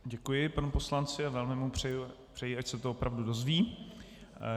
Děkuji panu poslanci a velmi mu přeji, ať se to opravdu dozví.